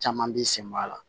Caman b'i senbɔ a la